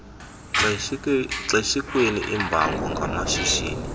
xeshikweni iimbango ngamashishini